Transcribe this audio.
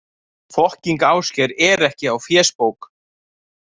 Fokkíng Ásgeir er ekki á fésbók.